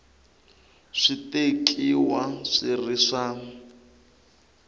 swi tekiwa swi ri swa